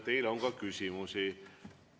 Teile on ka küsimusi.